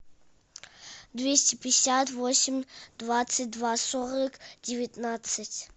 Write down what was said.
двести пятьдесят восемь двадцать два сорок девятнадцать